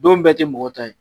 Don bɛɛ te mɔgɔ ta ye